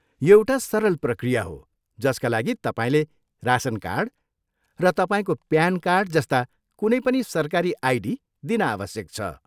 यो एउटा सरल प्रक्रिया हो जसका लागि तपाईँले रासन कार्ड, र तपाईँको प्यान कार्ड जस्ता कुनै पनि सरकारी आइडी दिन आवश्यक छ।